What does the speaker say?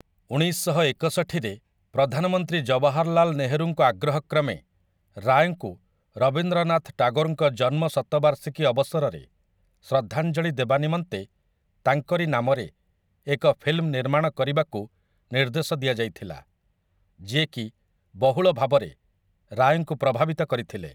ଉଣେଇଶଶହ ଏକଷଠିରେ ପ୍ରଧାନମନ୍ତ୍ରୀ ଜବାହାରଲାଲ ନେହେରୁଙ୍କ ଆଗ୍ରହ କ୍ରମେ ରାୟଙ୍କୁ ରବୀନ୍ଦ୍ରନାଥ ଟାଗୋରଙ୍କ ଜନ୍ମ ଶତବାର୍ଷିକୀ ଅବସରରେ ଶ୍ରଦ୍ଧାଞ୍ଜଳି ଦେବା ନିମନ୍ତେ ତାଙ୍କରି ନାମରେ ଏକ ଫିଲ୍ମ ନିର୍ମାଣ କରିବାକୁ ନିର୍ଦ୍ଦେଶ ଦିଆଯାଇଥିଲା, ଯିଏ କି ବହୁଳ ଭାବରେ ରାୟଙ୍କୁ ପ୍ରଭାବିତ କରିଥିଲେ ।